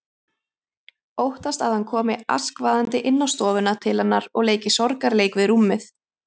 Óttast að hann komi askvaðandi inn á stofuna til hennar og leiki sorgarleik við rúmið.